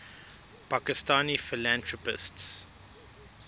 pakistani philanthropists